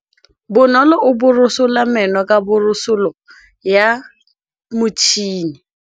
Bonolô o borosola meno ka borosolo ya motšhine.